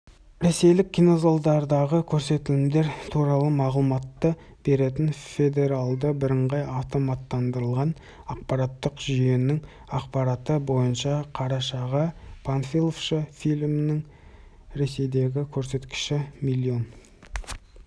ресейлік кинозалдардағы көрсетілімдер туралы мағлұматты беретін федералды бірыңғай автоматтандырылған ақпараттық жүйенің ақпараты бойынша қарашаға панфиловшы фильмінің ресейдегі көрсеткіші млн